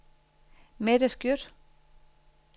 Mette Skjødt